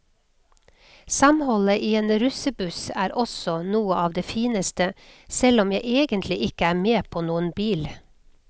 Samholdet i en russebuss er også noe av det fineste, selv om jeg egentlig ikke er med på noen bil.